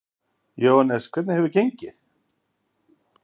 Jóhannes: Hvernig hefur það gengið?